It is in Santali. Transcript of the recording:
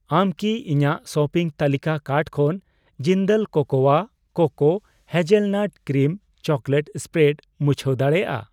ᱟᱢ ᱠᱤ ᱤᱧᱟᱜ ᱥᱚᱯᱤᱝ ᱛᱟᱹᱞᱤᱠᱟ ᱠᱟᱨᱴ ᱠᱷᱚᱱ ᱡᱤᱱᱫᱟᱞ ᱠᱳᱠᱳᱣᱟ cocoa hazelnut cream chocolate spread ᱢᱩᱪᱷᱟᱣ ᱫᱟᱲᱮᱭᱟᱜᱼᱟ ᱾